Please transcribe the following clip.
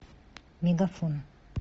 мегафон